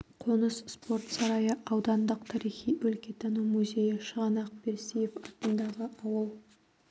қоныс спорт сарайы аудандық тарихи-өлкетану музейі шығанақ берсиев атындағы ауыл